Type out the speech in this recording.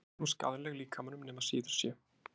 Ekki er hún skaðleg líkamanum nema síður sé.